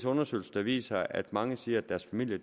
undersøgelser der viser at mange siger at deres familie